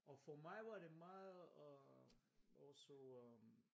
Og for mig var det meget og også øh